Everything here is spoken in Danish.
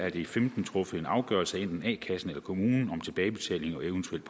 i de femten truffet en afgørelse enten af a kassen eller af kommunen om tilbagebetaling og eventuelt